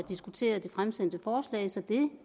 diskuterede det fremsatte forslag så det